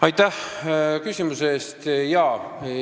Aitäh küsimuse eest!